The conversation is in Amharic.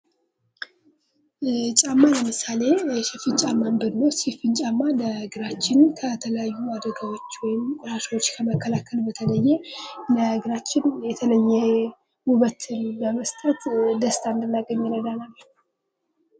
ጫማ ለምሳሌ ሽፍን ጫማን ብንወስድ ሽፍን ጫማ ለእግራችን ከተለያዩ አደጋዎች ወይም እራሾች ከመከላከል በተለየ ለእግራችን የተለ ውበት በመስጠት ደስታ እንድናገኝ ይረዳናል።